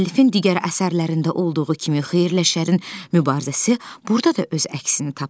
Müəllifin digər əsərlərində olduğu kimi xeyirlə şərin mübarizəsi burda da öz əksini tapıb.